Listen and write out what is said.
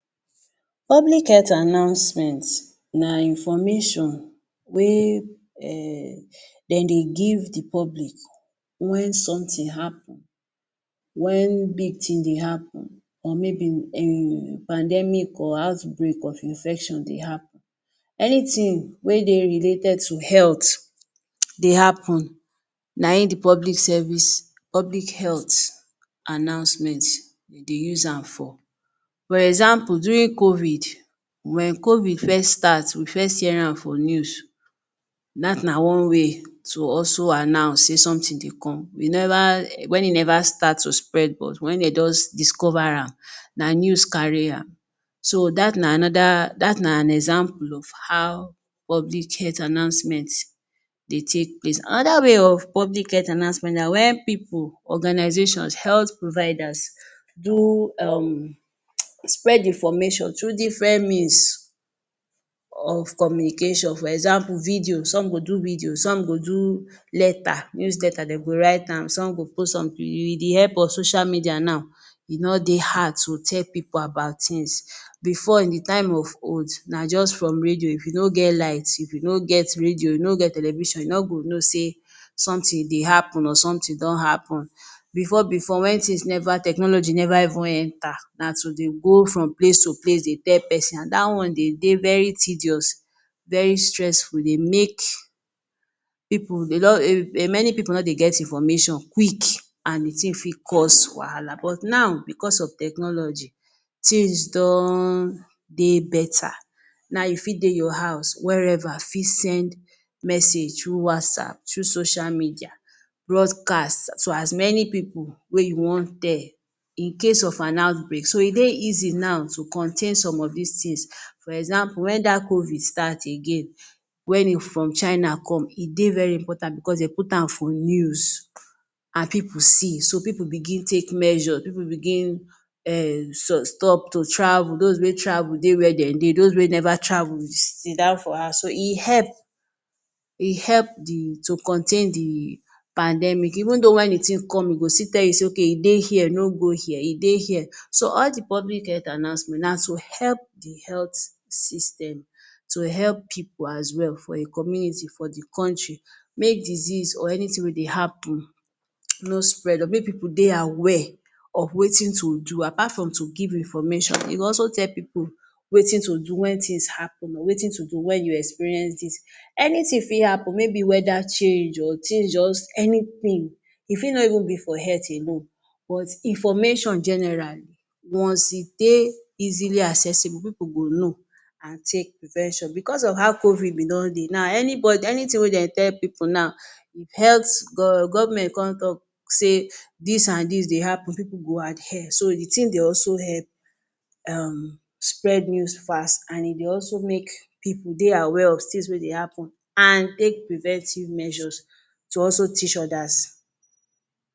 Public health announcement na information wey dem dey give the public wen somtin happen wen big thing happen or may be pandemic or outbreak of infection dey happen anytin wey dey related to health dey happen na in the public service, public health announcement dey use am for, for example, during covid wen covid first start we first hear am for news that na one way to also announce sey somtin dey come wen e never start to dey spread but wen dey just dicover am na news kari am so that na an example of how public health announcement dey take place, Anoda way of public health announcement na wen pipul organization, health providers spread information through different means of communication, example, video some go do video, some go do letter, news letter de go write am some de go pos am with the help of social media now e no dey hard to tell pipul about tins before the time of oath, na just for radio, if you no get light, you no get radio, you no get television you no go no sey somtin dey happen or somtin don happen. Before- before wen tins never, technology never enter we dey go from place to place dey tell pesin and dat one de dey very tedious, very stressful, e dey make pipul no dey get information quick, e fit cause wahala but now because of technology tins don dey beta now you fit dey your house wherever fit send message through whatsapp, through social media, through broadcast as many pipul wey you wan tell incase of an outbreak so e dey easy now to contain some of dis tins. For example wen dat covid start again wen e from china come e dey very important because de put am for news, pipul see, so pipul bigin take measure, pipul bigin stop t to travel, dos wey travel dey where den dey dos wey never travel sidown for house, so e help, e help to contain the pandemic even though wen the tin come e go still tell you sey, I dey here no go here so all the public health announcement na to help the health system to help pipul as well for a community for the country make disease or anytin wey dey happen no spread, make pipul dey aware of wetin to do apart of to give information e go also tell pipul wen tins happen wetin to do wen you experience dis, any tin fit happen may be weda change o or change just anytin e fit no be for health alone information generally once e dey easily aceesible pipul go no take prevention because of how covid be don dey anytin wey den tell pipul now government de come talk sey dis and dis dey happen pipul go adhere, so the thing dey also help um spread news fast nd e dey also make pipul dey aware of tins wey dey happen and take preventive measures to also teach odas.